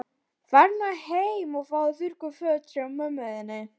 Farðu nú heim og fáðu þurr föt hjá mömmu þinni.